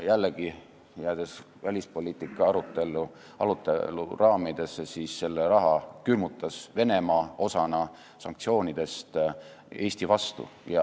Jällegi, jäädes välispoliitika arutelu raamidesse: selle raha külmutas Venemaa osana sanktsioonidest Eesti vastu.